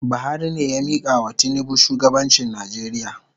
Buhari ne ya mikawa tinubu shugabanchi Nijeria